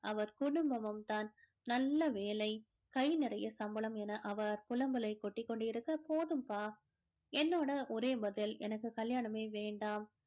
அவர் குடும்பமும் தான் நல்ல வேலை கை நிறைய சம்பளம் என அவர் புலம்பலை கொட்டிக் கொண்டிருக்க போதும்பா என்னோட ஒரே பதில் எனக்கு கல்யாணமே வேண்டாம்